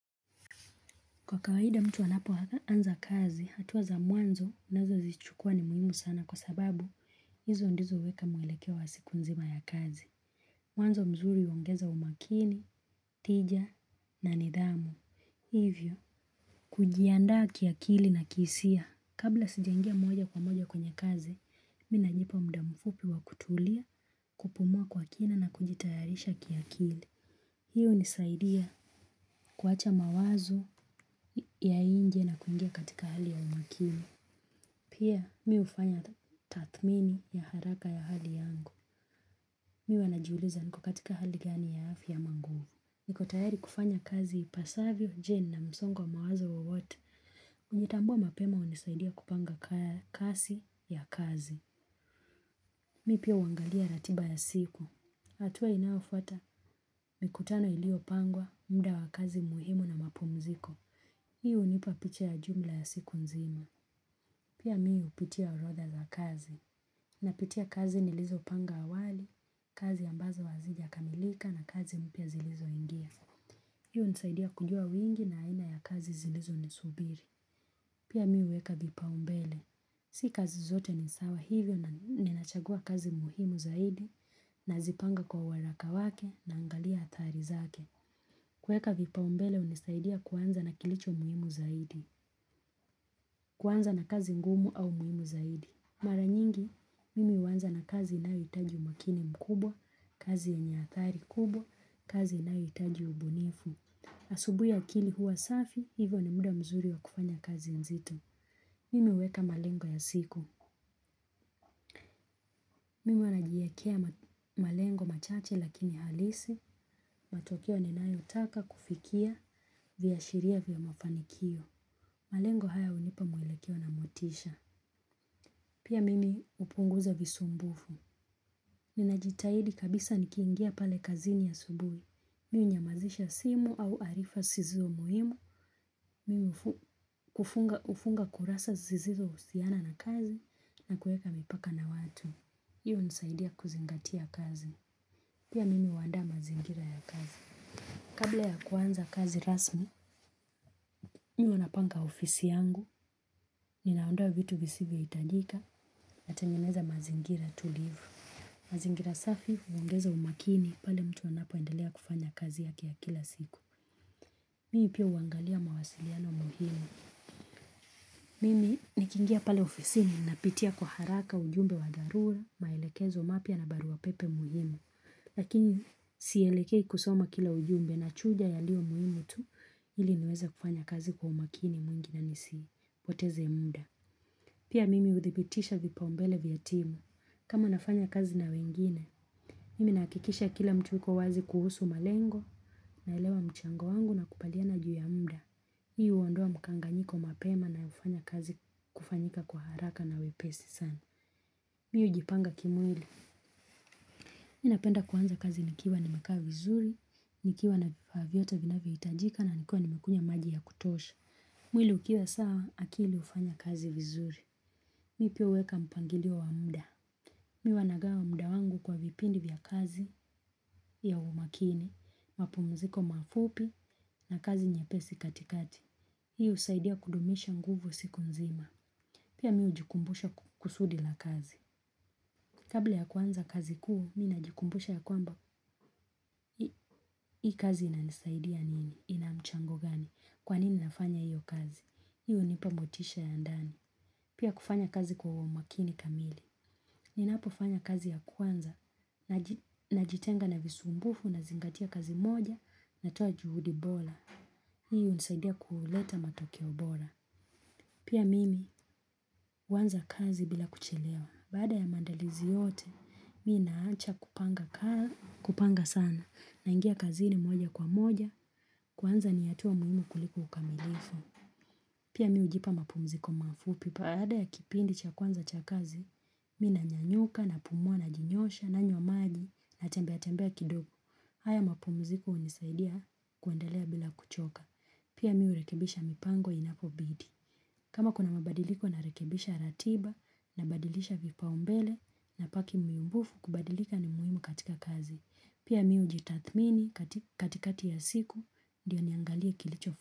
Kwa kawaida mtu anapoanza kazi, hatua za mwanzo anazozichukua ni muhimu sana kwa sababu hizo ndizo huweka mwelekeo wa siku nzima ya kazi. Mwanzo mzuri huongeza umakini, tija na nidhamu. Hivyo, kujiandaa kiakili na kisia. Kabla sijaingia moja kwa moja kwenye kazi, mimi najipa muda mfupi wa kutulia, kupumua kwa kina na kujitayarisha kiakili. Hii hunisaidia kuacha mawazo ya nje na kuingia katika hali ya umakini. Pia mimi hufanya tathmini ya haraka ya hali yangu. Mimi huwa najiuliza niko katika hali gani ya hafi ama nguvu. Niko tayari kufanya kazi ipasavyo. Je, nina msongo mawazo wowote? Kujitambua mapema hunisaidia kupanga kasi ya kazi. Mimi pia huangalia ratiba ya siku. Hatua inayofuata ni mikutano iliyopangwa, muda wa kazi muhimu na mapumziko. Hii hunipa picha ya jumla ya siku nzima. Pia mimi hupitia urodha za kazi. Napitia kazi nilizopanga awali, kazi ambazo hazijakamilika na kazi mpya zilizoingia. Hii hunisaidia kujua wingi na aina ya kazi zilizonisubiri. Pia mimi huweka vipaumbele. Si kazi zote ni sawa, hivyo ninachagua kazi muhimu zaidi. Nazipanga kwa waraka wake na angalia athari zake. Kuweka vipaumbele hunisaidia kuanza na kilicho muhimu zaidi. Kuanza na kazi ngumu au muhimu zaidi. Mara nyingi, mimi huanza na kazi inayohitaji umakini mkubwa, kazi yenye athari kubwa, kazi inayohitaji ubunifu. Asubuhi akili huwa safi, hivyo ni muda mzuri wa kufanya kazi nzito. Mimi huweka malengo ya siku. Mimi huwa najiekea malengo machache lakini halisi, matokeo ninayotaka kufikia, viashiria vya mafanikio. Malengo haya hunipa mwelekeo na motisha. Pia mimi hupunguza visumbufu. Ninajitahidi kabisa nikiingia pale kazini asubuhi. Mimu hunyamazisha simu au arifa zisizo muhimu. Mimi hufunga kurasa zisizo husiana na kazi na kuweka mipaka na watu. Hiyo hunisaidia kuzingatia kazi. Pia mimi huandaa mazingira ya kazi. Kabla ya kuanza kazi rasmi, mimi huwa napanga ofisi yangu. Ninaondoa vitu visivyohiitajika, natengeneza mazingira tulivu. Mazingira safi huongeza umakini pale mtu anapoendelea kufanya kazi yake ya kila siku. Mimi pia huangalia mawasiliano muhimu. Mimi nikiingia pale ofisini napitia kwa haraka ujumbe wa dharura, maelekezo mapya na barua pepe muhimu. Lakini sielekei kusoma kila ujumbe, nachuja yaliyo muhimu tu ili niweze kufanya kazi kwa umakini mwingi na nisipoteze muda. Pia mimi huthibitisha vipaumbele vya timu. Kama nafanya kazi na wengine, mimi nahakikisha kila mtu yuko wazi kuhusu malengo naelewa mchango wangu nakubaliana juu ya muda. Hii huondoa mkanganyiko mapema na hufanya kazi kufanyika kwa haraka na wepesi sana. Mimi hujipanga kimwili. Mimi napenda kuanza kazi nikiwa nimekaa vizuri, nikiwa na vifaa vyote vinavyohitajika na nikiwa nimekunywa maji ya kutosha. Mwili ukiwa sawa, akili hufanya kazi vizuri. Mimi pia huweka mpangilio wa muda. Mimi huwa nagawa muda wangu kwa vipindi vya kazi ya umakini, mapumziko mafupi na kazi nyepesi katikati. Hii husaidia kudumisha nguvu siku nzima. Pia mimi hujikumbusha kusudi la kazi. Kabla ya kuanza kazi kuu, mimi najikumbusha ya kwamba hii kazi inanisaidia nini, inamchango gani, kwa nini nafanya hiyo kazi. Hiyo hunipa motisha ya ndani. Pia kufanya kazi kwa umakini kamili. Ninapofanya kazi ya kwanza, najitenga na visumbufu nazingatia kazi moja, natoa juhudi bora. Hii hunisaidia kuleta matokeo bora. Pia mimi huanza kazi bila kuchelewa. Baada ya maandalizi yote, mimi naacha kupanga sana. Naingia kazini moja kwa moja, kuanza ni hatua muhimu kuliko ukamilifu. Pia mimi hujipa mapumziko mafupi. Baada ya kipindi cha kwanza cha kazi, mimi nanyanyuka, napumua, najinyosha, nanywa maji, natembea tembea kidogo. Haya mapumziko hunisaidia kuendelea bila kuchoka. Pia mimi hurekebisha mipango inapobidi. Kama kuna mabadiliko, narekebisha ratiba, nabadilisha vipaumbele, kubadilika ni muhimu katika kazi. Pia mimi hujitathmini katikati ya siku ndiyo niangalie kilicho.